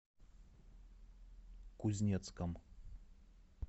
кузнецком